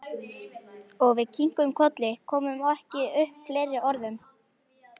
Og við kinkuðum kolli, komum ekki upp fleiri orðum.